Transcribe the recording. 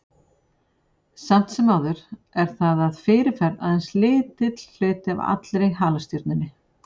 Samt sem áður er það að fyrirferð aðeins lítill hluti af allri halastjörnunni.